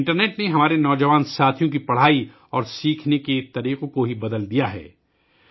internet نے ہمارے نوجوان دوستوں کے مطالعہ اور سیکھنے کا طریقہ بدل دیا ہے